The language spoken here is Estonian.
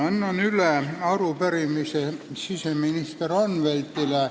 Annan üle arupärimise siseminister Anveltile.